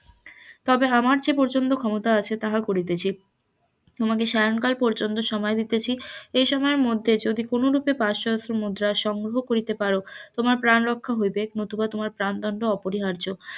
তবে আমার জে পর্যন্তক্ষমতা আছে সে পর্যন্ত করিতেছি, তোমাকে স্বায়ংকাল পর্যন্ত সময় দিতাছি এই সময়ের মধ্যে যদি কোন রূপে পাঁচ সহস্র মুদ্রা সংগ্রহ করিতে পারো তোমার প্রাণ রক্ষা হইবে নতুবা তোমার প্রাণ দণ্ড অপরিহার্য.